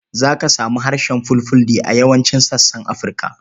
Za ka samu harshen Fulfulde a yawancin sassan Afirka.